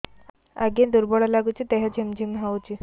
ଆଜ୍ଞା ଦୁର୍ବଳ ଲାଗୁଚି ଦେହ ଝିମଝିମ ହଉଛି